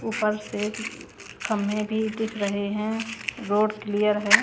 उपर से कम्भे भी दिख रहे हैं रोड क्लियर है।